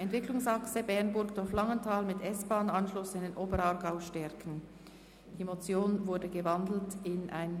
Die Motion ist in ein Postulat umgewandelt worden.